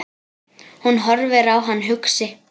Hún horfir á hann hugsi.